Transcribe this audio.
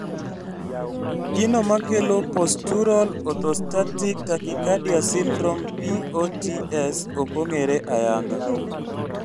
Gino makelo postural orthostatic tachycardia syndrome (POTS) ok ong'ere ayanga